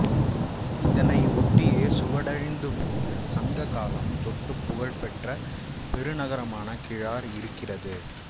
இதனை ஒட்டியே சுவடழிந்து போன சங்க காலம் தொட்டுப் புகழ்பெற்ற பெருநகரமான கிழார் இருந்திருக்கிறது